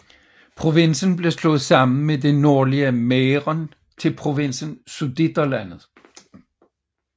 Provinsen blev slået sammen med det nordlige Mähren til provinsen Sudeterlandet